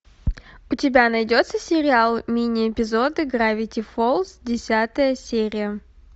у тебя найдется сериал мини эпизоды гравити фолз десятая серия